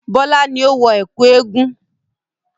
Bọ́lá ni ó wọ ẹ̀kú eégun.